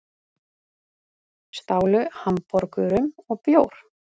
Stálu hamborgurum og bjór